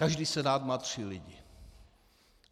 Každý senát má tři lidi.